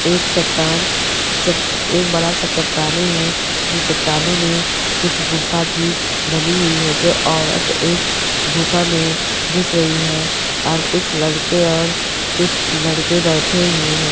एक चट्टान एक बड़ा सा चट्टाने हैं जो चट्टानों मे कुछ गुफा भी बनी हुई है जो औरत एक गुफा मे घुस रही है और कुछ लड़के और कुछ लड़के बैठे हुए हैं।